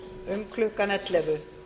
um klukkan ellefu